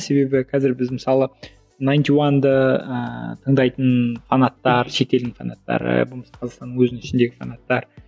себебі қазір біз мысалы найнти уанды ыыы тыңдайтын фанаттар шетелдің фанаттары болмаса қазақстанның өзінің ішіндегі фанаттар